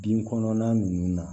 Bin kɔnɔnan nunnu na